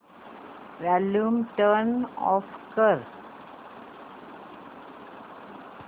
volume turn off कर